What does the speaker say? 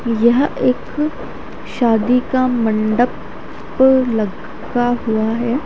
यह एक शादी का मण्डप लगा हुआ है ।